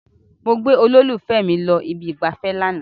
Mo gbé olólùfẹ́ mi lọ ibi ìgbafẹ́ lánàá.